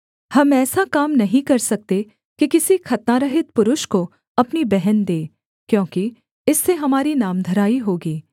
हम ऐसा काम नहीं कर सकते कि किसी खतनारहित पुरुष को अपनी बहन दें क्योंकि इससे हमारी नामधराई होगी